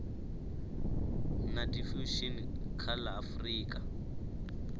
na diffusion kha la afrika